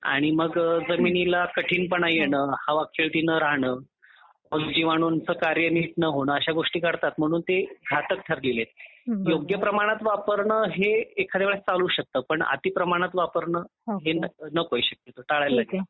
आणि मग जमिनीला कठीणपणा येणं हवाखेळती न राहणं सूक्ष्मजीवाणूंचे कार्य नीट न होणे अश्या गोष्टी करतात म्हणून ते घटक ठरतात. योग्य प्रमाणात वापरणं हे एखाद्या वेळेस चालू शकतं पण अति प्रमाणात वापरणं हे नको ते शक्य टाळायला पाहिजे.